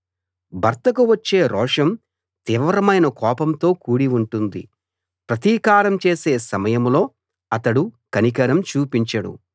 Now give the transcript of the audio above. భర్తకు వచ్చే రోషం తీవ్రమైన కోపంతో కూడి ఉంటుంది ప్రతీకారం చేసే సమయంలో అతడు కనికరం చూపించడు